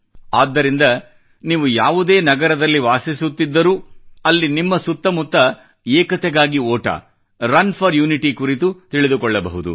ಆದ್ದರಿಂದ ನೀವು ಯಾವುದೇ ನಗರದಲ್ಲಿ ವಾಸಿಸುತ್ತಿದ್ದರೂ ಅಲ್ಲಿ ನಿಮ್ಮ ಸುತ್ತಮುತ್ತ ಏಕತೆಗಾಗಿ ಓಟ ರನ್ ಫೋರ್ ಯುನಿಟಿ ಕುರಿತು ತಿಳಿದುಕೊಳ್ಳಬಹುದು